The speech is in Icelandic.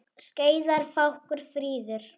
Skeiðar fákur fríður.